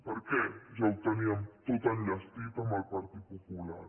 per què ja ho teníem tot enllestit amb el partit popular